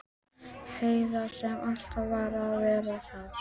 Heiða sem alltaf varð að vera að gera eitthvað.